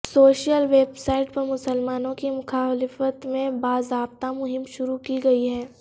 social website پر مسلمانوں کی مخالفت میں باضابطہ مہم شروع کی گیی ہے